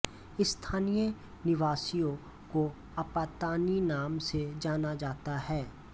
स्थानीय निवासियों को अपातानी नाम से जाना जाता है